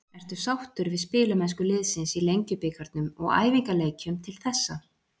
Ertu sáttur við spilamennsku liðsins í Lengjubikarnum og æfingaleikjum til þessa?